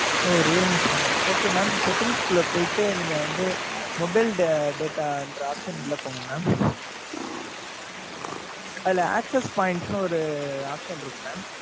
ஓ real me seven okay mam settings க்குள்ள போயிட்டு நீங்க வந்து mobile data ன்ற option க்குள்ள போங்க mam அதுல access points ன்னு ஒரு option இருக்கும் mam